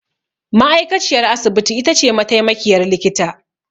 Ma'aikaciyar asibiti itace mataimakiyar likita.